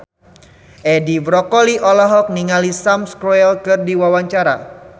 Edi Brokoli olohok ningali Sam Spruell keur diwawancara